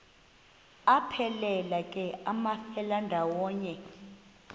aphelela ke amafelandawonye